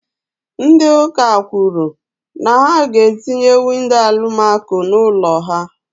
Ndị ụka kwùrù na ha ga etinye windo Alụmaco n'ụlọ ụka ha